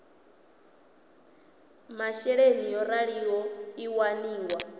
masheleni yo raliho i waniwa